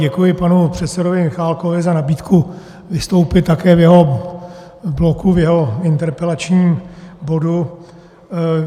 Děkuji panu předsedovi Michálkovi za nabídku vystoupit také v jeho bloku, v jeho interpelačním bodu.